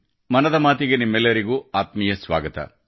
ಮನದ ಮಾತಿಗೆ ನಿಮ್ಮೆಲ್ಲರಿಗೂ ಆತ್ಮೀಯ ಸ್ವಾಗತ